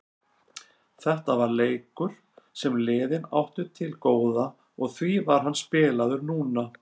Þetta var leikur sem liðin áttu til góða og því var hann spilaður núna.